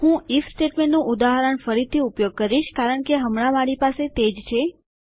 હું ઇફ સ્ટેટમેન્ટનું ઉદાહરણ ફરીથી ઉપયોગ કરીશ કારણ કે હમણાં મારી પાસે તે જ છે